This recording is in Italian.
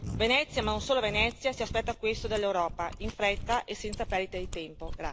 Venezia, ma non solo Venezia, si aspetta questo dall'Europa, in fretta e senza perdite di tempo.